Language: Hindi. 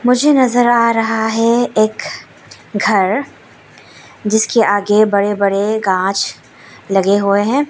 मुझे नजर आ रहा है एक घर जिसके आगे बड़े बड़े गांछ लगे हुए हैं।